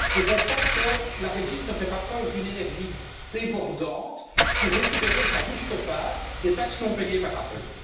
Je constate que la Belgique ne fait pas preuve d'une énergie débordante pour récupérer sa juste part des taxes non payées par Apple.